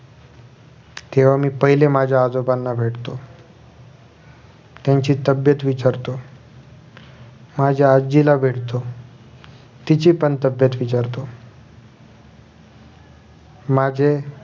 तेव्हा मी पहिले माझ्या आजोबांना भेटतो त्यांची तब्बेत विचारतो माझ्या आजीला भेटतो तिचीपण तब्बेत विचारतो माझ